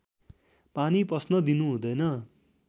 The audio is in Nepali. पानी पस्न दिनु हुँदैन